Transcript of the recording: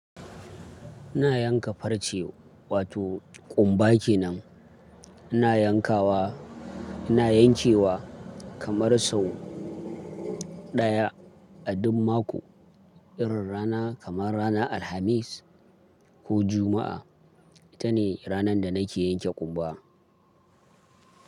Ina yanka farce wato ƙumba kenan. Ina yankawa, ina yankewa kamar sau ɗaya a duk mako. Irin rana kamar ranar Alhamis ko Juma'a. Ita ne ranar da nake yanke ƙumba.